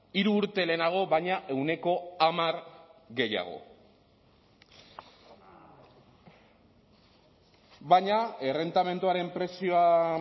hiru urte lehenago baina ehuneko hamar gehiago baina errentamenduaren prezioa